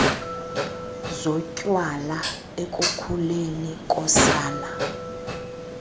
zotywala ekukhuleni kosana